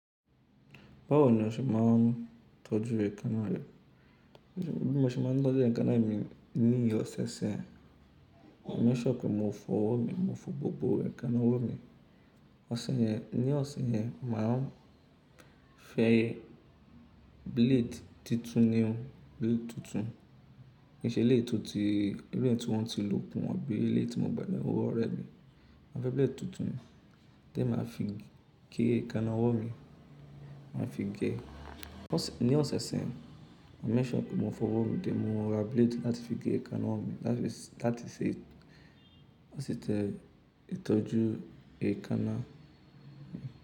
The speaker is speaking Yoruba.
Báwo ni o ṣe máa ń tọ́jú èékánná rẹ? Bí mo ṣe máa ń tọ́jú èékánná mi ní ìsẹ̀ẹsẹ̀ mi, mo ní ṣọ́ọ̀kì mo fọ ọwọ́ mi, mo fọ gbogbo èékánná ọwọ́ mi. Ọ̀sẹ̀ yẹn, ní ọ̀sẹ̀ yẹn màá fẹ́ blade tuntun ni o, blade tuntun. Kì í ṣe eléyìí tó ti, irú èyí tí wọ́n ti lò kún wọ́n bí i ilé tí mo gbà ní owó ọ̀rẹ́ mi. Màá fẹ́ blade tuntun, tẹ́ màá fi gé èékánná ọwọ́ mi, màá fi gé ẹ́. Ní ọ̀sẹ̀ ọ̀sẹ̀, mo make sure mo fọ ọwọ́ mi tẹ́ mo ra blade láti fi gé èékánná ọwọ́ mi. Láti ṣe, láti ṣe èsì tẹ ìtọ́jú èékánná mi.